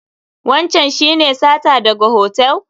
Wancan shi ne sata daga hotel?